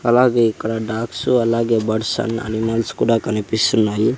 అలాగే ఇక్కడ డాగ్సు అలాగే బర్డ్స్ అండ్ అనిమల్స్ కూడా కనిపిస్తున్నాయి.